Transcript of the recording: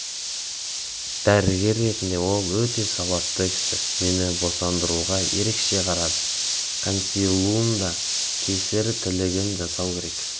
дәрігер ретінде ол өте сауатты жақсы кісі мені босандыруға ерекше қарады консилиумда кесір тілігін жасау керек